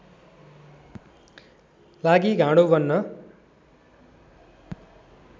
लागि घाँडो बन्न